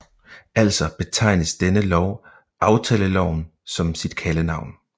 Altså betegnes denne lov aftaleloven som sit kaldenavn